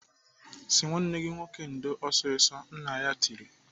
"Sị nwanne gị nwoke ndo ọsịsọ!" Nna ya tiri.